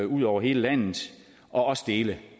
ud over hele landet og også dele